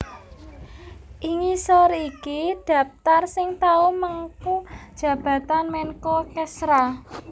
Ing ngisor iki dhaptar sing tau mengku jabatan Menko Kesra